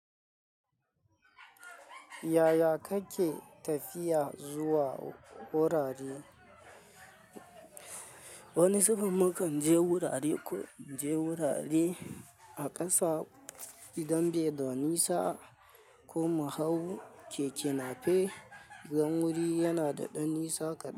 Yaya kake tafiya zuwa wurare? Wani zubin mukan je wurare. Ko muje wurare a ƙasa idan bai da nisa ko mu hau. Keke na fe idan wuri yana da ɗan nisa kaɗan.